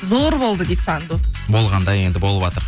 зор болды дейді санду болған да енді болыватыр